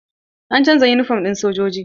An canza yunifom ɗin sojoji.